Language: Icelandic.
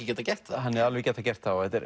getað gert það hann hefði getað gert það og þetta er